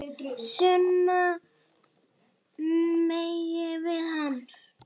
sunnan megin við hana.